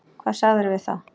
Hvað sagðirðu við þá?